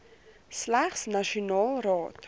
slegs nasionaal raak